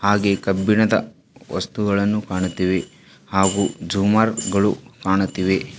ಹಾಗೆ ಕಬ್ಬಿಣದ ವಸ್ತುಗಳನ್ನು ಕಾಣುತ್ತಿವೆ ಹಾಗು ಜೂಮರ್ ಗಳು ಕಾಣುತ್ತಿವೆ.